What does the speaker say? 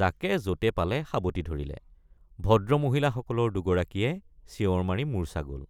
যাকে যতে পালে সাৱটি ধৰিলে ভদ্ৰমহিলাসকলৰ দুগৰাকীয়ে চিঞৰ মাৰি মূৰ্চ্ছা গল।